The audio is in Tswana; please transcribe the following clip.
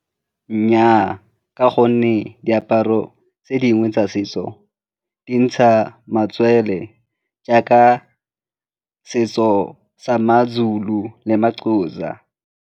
Nnyaa, ka gonne diaparo tse dingwe tsa setso di ntsha matswele jaaka setso sa ma-Zulu le ma-Xhosa.